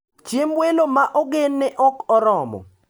Chiemb welo ma ogen ne ok oromo.